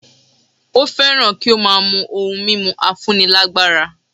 Ó fẹ́ràn kí ó máa mú ohun mímu afúnilágbára